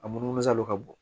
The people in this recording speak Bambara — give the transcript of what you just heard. A munumunu salo ka bon